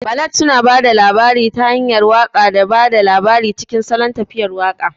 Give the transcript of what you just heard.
Ballad suna ba da labari ta hanyar waƙa da ba da labari cikin salon tafiyar waƙa.